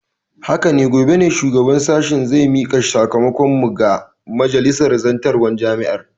Haka ne, gobe ne shugaban sashen zai mika sakamakon mu ga majalisar zartarwar jami'ar.